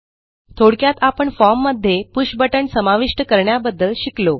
थोडक्यात आपण फॉर्म मध्ये पुष बटण समाविष्ट करण्याबद्दल शिकलो